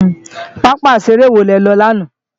pápá ìṣeré wo le lọ lánàá?